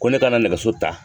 Ko ne kana nɛgɛso ta